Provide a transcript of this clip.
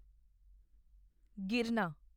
ਗਿਰਨਾ